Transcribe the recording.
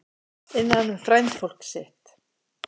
Innan um frændfólk sitt